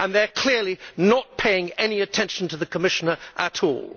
They are clearly not paying any attention to the Commissioner at all.